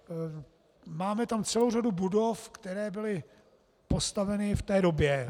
Máme tam celou řadu budov, které byly postaveny v té době.